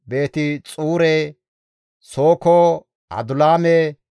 Beeti-Xuure, Sooko, Adulaame,